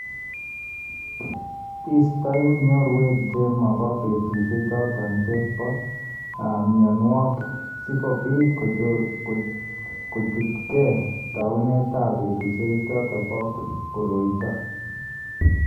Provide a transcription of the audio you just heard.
iistoe nyorwek che ma ba petusyechoto che po myanwogik, si kobiit kochuutegei taunetap peetuusyegap koroito.